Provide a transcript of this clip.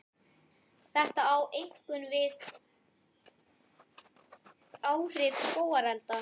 Þetta á einkum við um áhrif skógarelda.